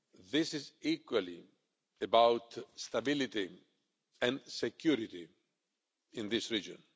This is equally about stability and security in this region.